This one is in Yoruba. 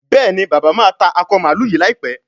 Béèni bàbá má tá Akọ mààlúù yí láìpé.